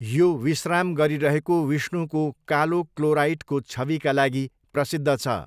यो विश्राम गरिरहेको विष्णुको कालो क्लोराइटको छविका लागि प्रसिद्ध छ।